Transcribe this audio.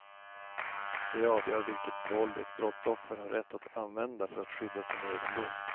Det avgör vilket våld ett brottsoffer har rätt att använda för att skydda sin egendom.